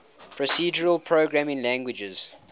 procedural programming languages